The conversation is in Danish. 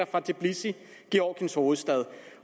fra tbilisi georgiens hovedstad